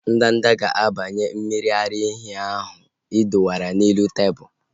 Ndanda ga-abanye mmiri ara ehi ahu ị dowere n'elu tebụlu